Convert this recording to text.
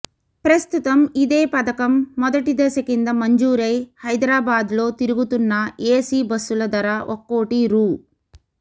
ప్రస్తుతం ఇదే పథకం మొదటి దశ కింద మంజూరై హైదరాబాద్లో తిరుగుతున్న ఏసీ బస్సుల ధర ఒక్కోటి రూ